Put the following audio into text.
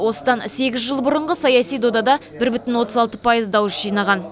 осыдан сегіз жыл бұрынғы саяси додада бір бүтін отыз алты пайыз дауыс жинаған